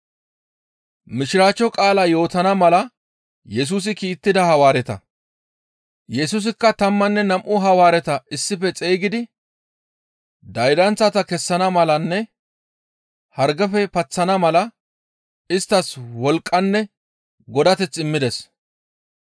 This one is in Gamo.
Yesusikka tammanne nam7u Hawaareta issife xeygidi daydanththata kessana malanne hargefe paththana mala isttas wolqqanne godateth immides.